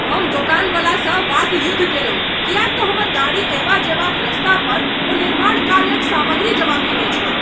हम दोकानवला सँ वाकयुद्ध कयलहुँ किएक तँ हमर गाड़ी अयबा जयबाक रास्ता पर ओ निर्माण कार्यक सामग्री जमा केने छल ।